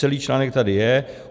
Celý článek tady je.